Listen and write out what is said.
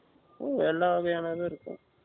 எல்லா வகையானதும் இருக்கும்